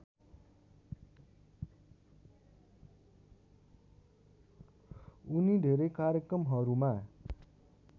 उनी धेरै कार्यक्रमहरूमा